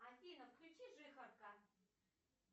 афина включи жихарка